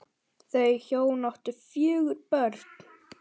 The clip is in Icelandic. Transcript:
Þau hjón áttu fjögur börn.